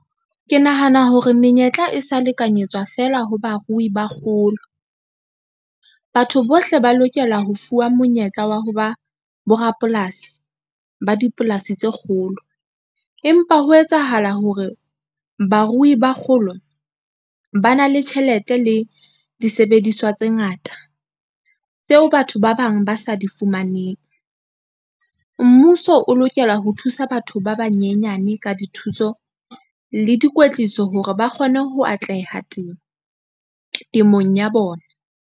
Ke nahana hore menyetla e sa lekanyetswa fela ho barui ba kgolo. Batho bohle ba lokela ho fuwa monyetla wa ho ba borapolasi ba dipolasi tse kgolo, empa ho etsahala hore barui ba kgolo ba na le tjhelete le disebediswa tse ngata, tseo batho ba bang ba sa di fumaneng. Mmuso o lokela ho thusa batho ba banyenyane ka dithuso le dikwetliso hore ba kgone ho atleha temong ya bona.